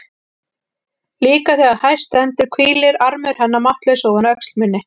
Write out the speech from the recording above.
Líka þegar hæst stendur hvílir armur hennar máttlaus ofan á öxl minni.